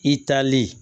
I taalen